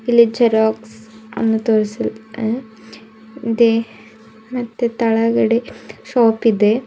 ಇಲ್ಲಿ ಜೆರಾಕ್ಸ್ ಅನ್ನು ತೋರಿಸಿ ಅಂ ಇದೆ ಮತ್ತೇ ತೆಳಗಡೆ ಶಾಪ್ ಇದೆ.